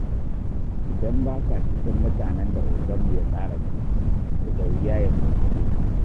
Idan ba ka cikin mutanen da oganmu ya tsara gani, to da wuya ya saurare ka